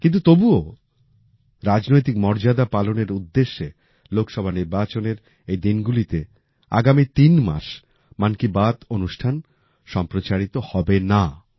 কিন্তু তবুও রাজনৈতিক মর্যাদা পালনের উদ্দেশ্যে লোকসভা নির্বাচনের এই দিনগুলিতে আগামী তিন মাস মন কি বাত অনুষ্ঠান সম্প্রচারিত হবে না